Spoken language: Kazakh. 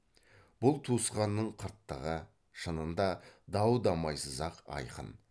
бұл туысқанның қырттығы шынында дау дамайсыз ақ айқын